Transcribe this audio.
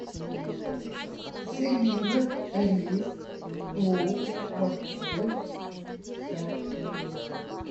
свинина рис лук морковь все